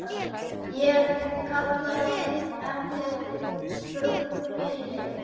Hann kallaði efnið brúnt blý.